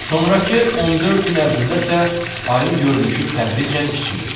Sonrakı 14 gün ərzində isə ayın görünüşü tədricən kiçilir.